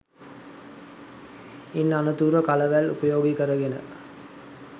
ඉන් අනතුරුව කලවැල් උපයෝගී කරගෙන